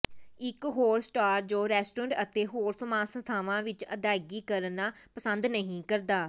ਇੱਕ ਹੋਰ ਸਟਾਰ ਜੋ ਰੈਸਟੋਰੈਂਟ ਅਤੇ ਹੋਰ ਸਮਾਨ ਸੰਸਥਾਵਾਂ ਵਿੱਚ ਅਦਾਇਗੀ ਕਰਨਾ ਪਸੰਦ ਨਹੀਂ ਕਰਦਾ